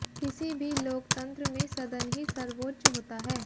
किसी भी लोकतंत्र में सदन ही सर्वोच्च होता है